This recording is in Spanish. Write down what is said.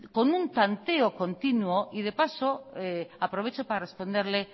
con un tanteo continuo y de paso aprovecho para responderle